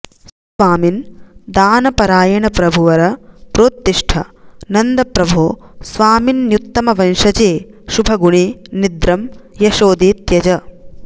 स्वामिन् दानपरायण प्रभुवर प्रोत्तिष्ठ नन्दप्रभो स्वामिन्युत्तमवंशजे शुभगुणे निद्रं यशोदे त्यज